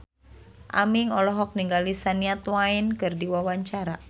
Aming olohok ningali Shania Twain keur diwawancara